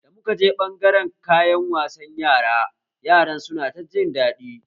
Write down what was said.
Da muka je ɓangaren kayan wasan Yara, Yaran su na ta jin daɗi